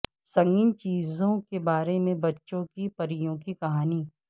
سنگین چیزوں کے بارے میں بچوں کی پریوں کی کہانی